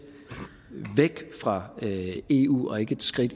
væk fra eu og ikke et skridt